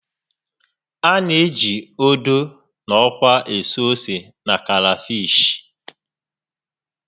A na-eji ódú na ókwá ésú ósè na karafishi